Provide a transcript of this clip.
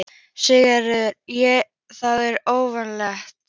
Sigríður: Er það óvanalegt?